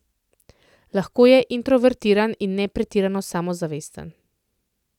Lahko je introvertiran in ne pretirano samozavesten.